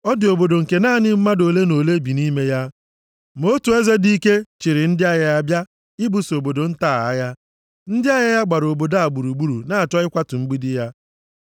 Ọ dị obodo nke naanị mmadụ ole na ole bi nʼime ya, ma otu eze dị ike chịịrị ndị agha ya bịa ibuso obodo nta a agha. Ndị agha ya gbara obodo a gburugburu na-achọ ịkwatu mgbidi ya.